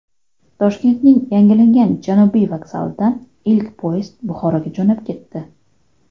Toshkentning yangilangan Janubiy vokzalidan ilk poyezd Buxoroga jo‘nab ketdi.